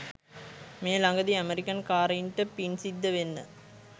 මේ ලඟදි අමෙරිකන් කාරයින්ට පින්සිද්ද වෙන්න